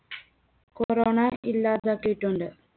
corona ഇല്ലാതാക്കിയിട്ടുണ്ട്.